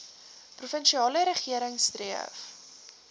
provinsiale regering streef